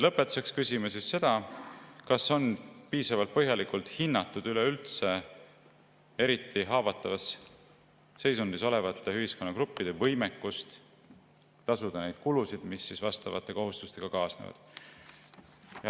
Lõpetuseks küsime seda, kas on piisavalt põhjalikult hinnatud üleüldse eriti haavatavas seisundis olevate ühiskonnagruppide võimekust tasuda neid kulusid, mis vastavate kohustustega kaasnevad.